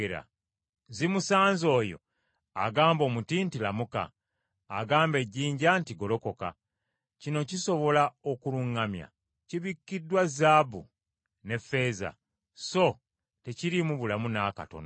Zimusanze oyo agamba omuti nti, ‘Lamuka;’ agamba ejjinja nti, ‘Golokoka!’ Kino kisobola okuluŋŋamya? Kibikiddwa zaabu ne ffeeza, so tekiriimu bulamu n’akatono.